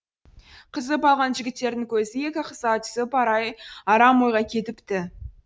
қызып алған жігіттердің көзі екі қызға түсіп арам ойға кетіпті